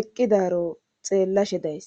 eqqidaro xeellashe days